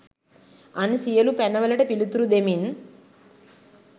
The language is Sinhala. අන් සියලු පැන වලට පිළිතුරු දෙමින්